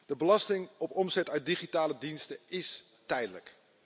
De belasting op omzet uit digitale diensten is tijdelijk.